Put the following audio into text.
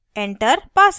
enter password: